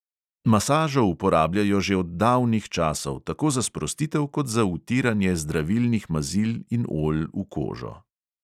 Masažo uporabljajo že od davnih časov, tako za sprostitev kot za vtiranje zdravilnih mazil in olj v kožo.